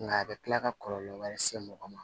Nka a bɛ kila ka kɔlɔlɔ wɛrɛ se mɔgɔ ma